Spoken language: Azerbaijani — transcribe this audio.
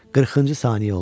40-cı saniyə oldu.